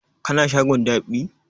Ka na shagon dab'i?